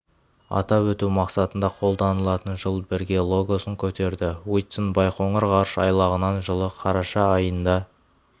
атап өту мақсатында қолданылатын жыл бірге логосын көтерді уитсон байқоңыр ғарыш айлағынан жылы қараша айында